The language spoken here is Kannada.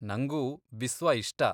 ನಂಗೂ ಬಿಸ್ವ ಇಷ್ಟ.